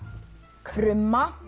krumma